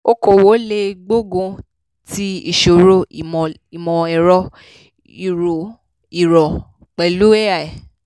òkòòwò lè gbógun ti ìṣòro ìmọ̀-ẹ̀rọ ìró pẹ̀lú ai.